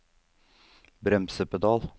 bremsepedal